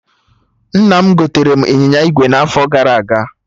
Nna m gotere m ịnyịnya ígwè n'afọ gara aga